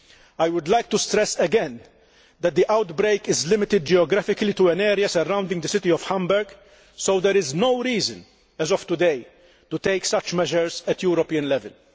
I would like to stress again that the outbreak is limited geographically to an area surrounding the city of Hamburg, so there is no reason, as of today, to take such measures at European level.